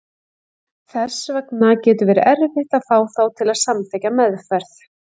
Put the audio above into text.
Þess vegna getur verið erfitt að fá þá til að samþykkja meðferð.